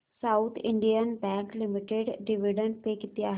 south Indian Bank Limited dividend pay किती आहे